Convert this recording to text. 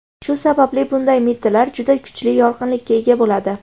Shu sababli bunday mittilar juda kuchli yorqinlikka ega bo‘ladi.